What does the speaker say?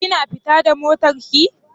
Kina fita da motar ki?